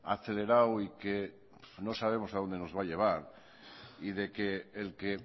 acelerado y que no sabemos a dónde nos va a llevar y de que